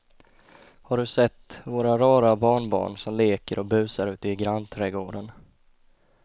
Har du sett våra rara barnbarn som leker och busar ute i grannträdgården!